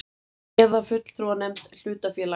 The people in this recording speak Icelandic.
eða fulltrúanefnd hlutafélags.